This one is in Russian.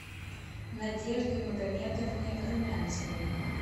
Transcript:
надежды магомедовны румянцевой